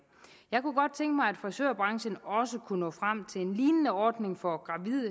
frisørbranchen også kunne nå frem til en lignende ordning for